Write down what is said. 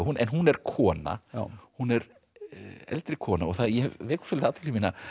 en hún er kona hún er eldri kona og það vekur athygli mína